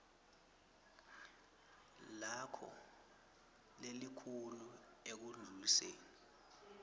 lakho lelikhulu ekundluliseni